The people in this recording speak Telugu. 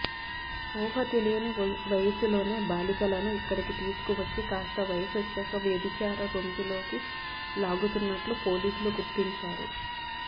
ఊహతెలియని వయసులోనే బాలికలను ఇక్కడికి తీసుకువచ్చి కాస్త వయసొచ్చాక వ్యభిచార రొంపిలోకి లాగుతున్నట్లు పోలీసులు గుర్తించారు